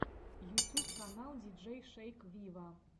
ютюб канал диджей шейк виво